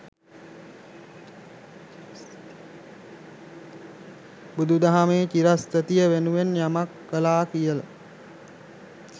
බුදු දහමේ චිරස්ථිතිය වෙනුවෙන් යමක් කලා කියල.